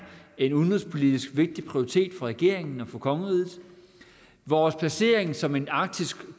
en udenrigspolitisk vigtig prioritet for regeringen og for kongeriget vores placering som en arktisk